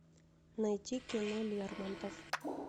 найти кино лермонтов